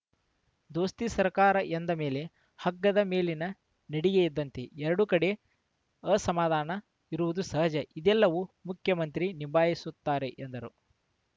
ದೋಸ್ತಿ ಸರ್ಕಾರ ಎಂದ ಮೇಲೆ ಹಗ್ಗದ ಮೇಲಿನ ನಡಿಗೆ ಇದ್ದಂತೆ ಎರಡೂ ಕಡೆ ಅಸಮಾಧಾನ ಇರುವುದು ಸಹಜ ಇದೆಲ್ಲವನ್ನೂ ಮುಖ್ಯಮಂತ್ರಿ ನಿಭಾಯಿಸುತ್ತಾರೆ ಎಂದರು